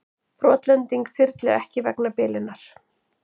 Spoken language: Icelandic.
Brotlending þyrlu ekki vegna bilunar